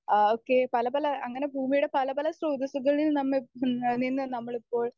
speaker 1 ആ ഒക്കെ പലപല അങ്ങനെ ഭൂമിയുടെ പല പല സ്രോതസ്സുകളിൽ നമ്മൾ നിന്ന് നമ്മളിപ്പോൾ